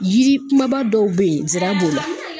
Yiri kumaba dɔw bɛ yen nsra b'o la.